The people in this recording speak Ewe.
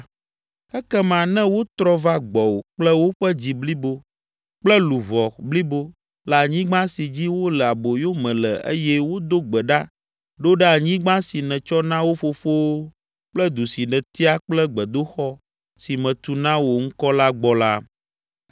ekema ne wotrɔ va gbɔwò kple woƒe dzi blibo kple luʋɔ blibo le anyigba si dzi wole aboyome le eye wodo gbe ɖa ɖo ɖe anyigba si nètsɔ na wo fofowo kple du si nètia kple gbedoxɔ si metu na wò ŋkɔ la gbɔ la,